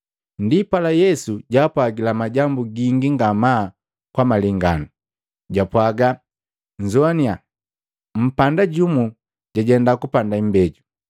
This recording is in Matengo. Ndipala Yesu jaapwagila majambu gingi ngamaa kwa malenganu, japwaaga, “Nnzoannya! Mpanda jumu jajenda kupanda imbeju.